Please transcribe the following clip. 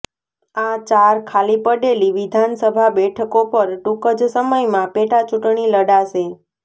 આ ચાર ખાલી પડેલી વિધાનસભા બેઠકો પર ટૂંક જ સમયમાં પેટાચૂંટણી લડાશે